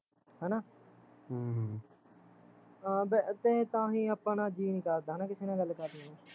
ਹੈਨਾ ਹਮ ਤਾਂ ਬ ਤਾਂਹੀਂ ਆਪਣਾ ਜੀਅ ਨੀ ਕਰਦਾ ਕਿਸੇ ਨਾਲ਼ ਗੱਲ ਕਰਨੇ ਨੂੰ